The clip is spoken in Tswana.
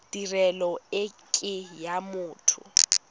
tirelo e ke ya motho